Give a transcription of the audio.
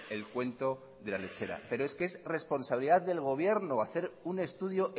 el cuento de la lechera pero es que es responsabilidad del gobierno hacer un estudio